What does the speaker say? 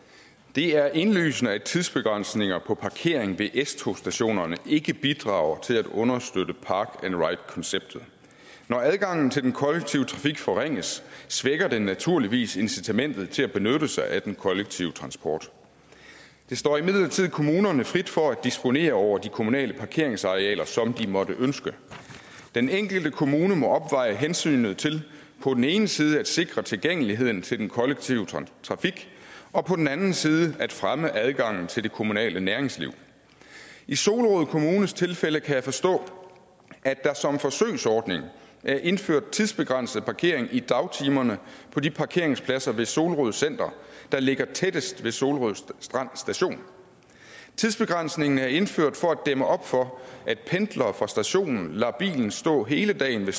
det er indlysende at tidsbegrænsninger på parkering ved s togsstationerne ikke bidrager til at understøtte park ride konceptet når adgangen til den kollektive trafik forringes svækker den naturligvis incitamentet til at benytte sig af den kollektive transport det står imidlertid kommunerne frit for at disponere over de kommunale parkeringsarealer som de måtte ønske den enkelte kommune må opveje hensynet til på den ene side at sikre tilgængeligheden til den kollektive trafik og på den anden side at fremme adgangen til det kommunale næringsliv i solrød kommunes tilfælde kan jeg forstå at der som forsøgsordning er indført tidsbegrænset parkering i dagtimerne på de parkeringspladser ved solrød center der ligger tættest ved solrød strand station tidsbegrænsningen er indført for at dæmme op for at pendlere fra stationen lader bilen stå hele dagen ved